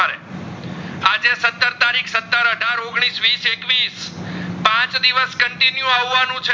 સત્તર, આધાર, ઓગણીસ, વીસ, એકવીસ પાચ દિવસ continue આવાનું છે